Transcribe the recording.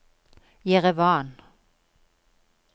Jerevan